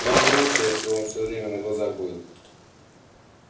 нам же лучше если он всё время на глазах будет